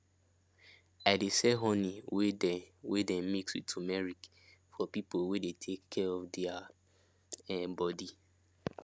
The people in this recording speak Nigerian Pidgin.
i de sell honey wey dey wey dey mix with tumeric for people wey de take care of their um body